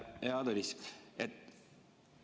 Hea Tõnis!